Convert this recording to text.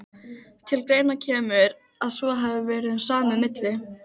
Til greina kemur, að svo hafi verið um samið milli